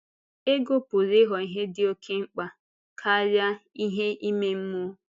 Ego pụrụ ịghọ ihe dị oké mkpa karịa ihe ime mmụọ.